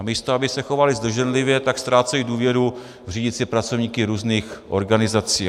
A místo aby se chovali zdrženlivě, tak ztrácejí důvěru v řídící pracovníky různých organizací.